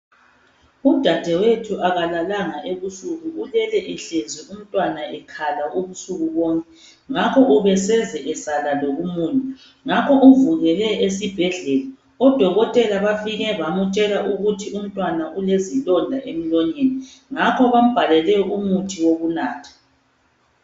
Udadewethu akalalanga ebusuku ulele ehlezi umntwana ekhala ubusuku bonke, ngakho ubeseze esala lokumunya, ngakho uvukele esibhedlela. Odokotela bafike bamtshela ukuthi umntwana ulezilonda emlonyeni, ngakho bambhalele umuthi wokunatha.